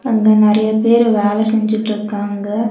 அங்க நெறையா பேரு வேல செஞ்சுட்ருக்காங்க.